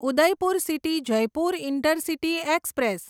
Udaipur city Jaipur intercity express